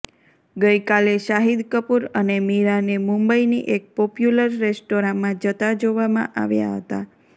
ગઈકાલે શાહિદ કપૂર અને મીરાંને મુંબઈની એક પોપ્યુલર રેસ્ટોરાંમા જતા જોવામાં આવ્યા હતા